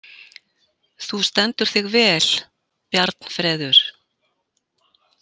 Þú stendur þig vel, Bjarnfreður!